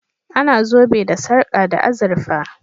A na zobe da sarka da azurfa